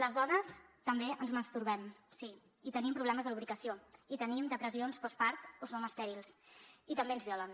les dones també ens masturbem sí i tenim problemes de lubricació i tenim depressions postpart o som estèrils i també ens violen